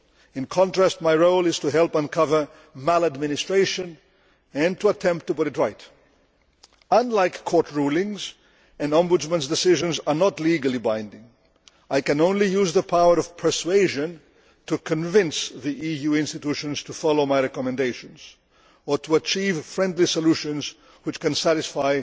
In contrast, my role is to help uncover maladministration and to attempt to put it right. Unlike court rulings, an Ombudsman's decisions are not legally binding. I can only use the power of persuasion to convince the EU institutions to follow my recommendations, or to achieve friendly solutions which can satisfy